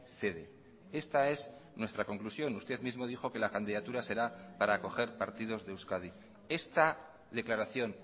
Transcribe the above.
sede esta es nuestra conclusión usted mismo dijo que la candidatura será para acoger partidos de euskadi esta declaración